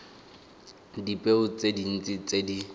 dipeo tse dintsi tse di